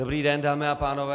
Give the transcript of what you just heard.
Dobrý den, dámy a pánové.